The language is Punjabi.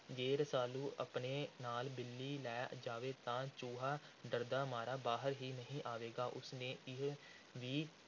ਜੇ ਰਸਾਲੂ ਆਪਣੇ ਨਾਲ ਬਿੱਲੀ ਲੈ ਜਾਵੇ, ਤਾਂ ਚੂਹਾ ਡਰਦਾ ਮਾਰਾ ਬਾਹਰ ਹੀ ਨਹੀਂ ਆਵੇਗਾ। ਉਸ ਨੇ ਇਹ ਵੀ